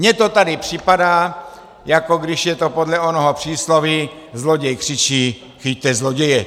Mně to tady připadá, jako když je to podle onoho přísloví "zloděj křičí chyťte zloděje".